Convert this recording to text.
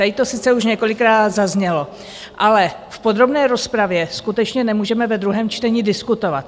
Tady to sice už několikrát zaznělo, ale v podrobné rozpravě skutečně nemůžeme ve druhém čtení diskutovat.